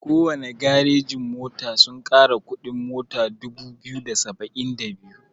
Kowana garejin mota sun kara kuɗin mota dubu biyu da saba'in da biyu.